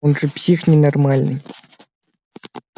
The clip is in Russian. он же псих ненормальный